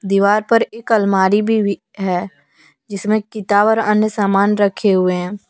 दीवार पर एक अलमारी भी है जिसमे किताब और अन्य सामान रखें हुए हैं।